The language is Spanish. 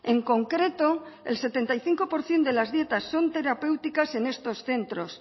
en concreto el setenta y cinco por ciento de las dietas son terapéuticas en estos centros